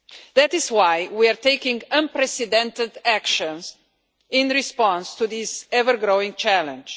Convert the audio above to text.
That is why we are taking unprecedented actions in response to this ever-growing challenge.